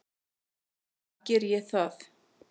Nú í dag geri ég það.